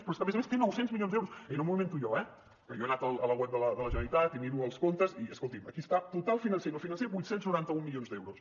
però és que a més a més té nou cents milions d’euros i no m’ho invento jo eh jo he anat a la web de la generalitat i miro els comptes i escoltin aquí està total financer i no financer vuit cents i noranta un milions d’euros